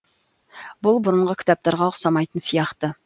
бұл бұрынғы кітаптарға ұқсамайтын сияқты